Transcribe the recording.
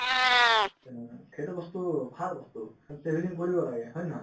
তেনেকুৱা সেইটো বস্তু ভাল বস্তু travelling কৰিব লাগে হয় নে নহয়